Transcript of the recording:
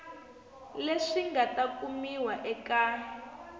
leswi nga ta kumiwa eka